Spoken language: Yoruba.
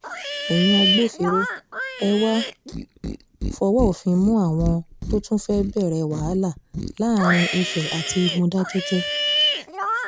ẹ̀yin agbófinró ẹ ẹ wàá fọwọ́ òfin mú àwọn tó tún fẹ́ẹ́ bẹ̀rẹ̀ wàhálà láàrin ife àti mòdákẹ́kẹ́